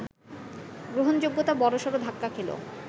গ্রহণযোগ্যতা বড়সড় ধাক্কা খেল